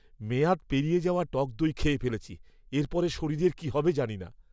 মেয়াদ পেরিয়ে যাওয়া টক দই খেয়ে ফেলেছি। এর পরে শরীরের কী হবে জানি না।